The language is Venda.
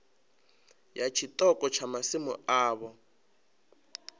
ya tshiṱoko tsha masimu avho